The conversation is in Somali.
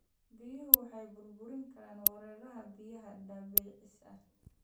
Biyuhu waxay burburin karaan wareegga biyaha dabiiciga ah.